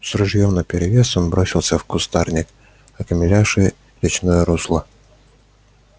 с ружьём наперевес он бросился в кустарник окаймлявший речное русло